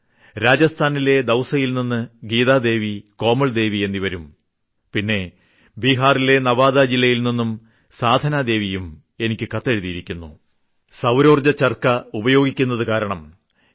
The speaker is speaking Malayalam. രാജസ്ഥാനിലെ ദൌസയിൽനിന്നും ഗീതാദേവി കോമൾദേവി എന്നിവരും പിന്നെ ബീഹാറിലെ നവാദാ ജില്ലയിൽനിന്നും സാധനാദേവിയും എനിക്ക് കത്തെഴുതിയിരിക്കുന്നു സൌരോർജ്ജ ചർക്ക കാരണം ഞങ്ങളുടെ ജീവിതത്തിൽ വലിയ മാറ്റങ്ങൾ സംഭവിച്ചിരിക്കുന്നു എന്ന്